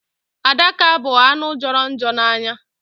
Adaka bụ anụ jọrọ njọ n'anya.